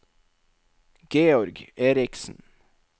Georg Eriksen